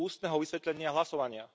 ústneho vysvetlenia hlasovania.